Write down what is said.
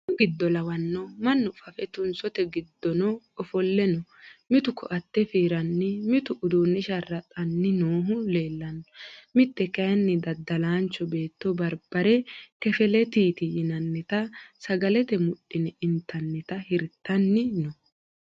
Minu giddo lawano mannu fafe tunsote giddono ofolle no mitu koate fiiranni mitu uduune sharaxani noohu leellano mite kayinni daddalancho beetto barbare kelefetiti yinannitta sagalete mudhine intannitta hirtanni no.